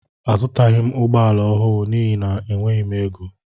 Azutaghi m ụgbọala ọhụụ n'ihi na m enweghị égo.